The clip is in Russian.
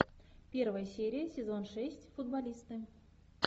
первая серия сезон шесть футболисты